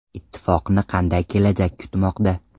Ittifoqni qanday kelajak kutmoqda?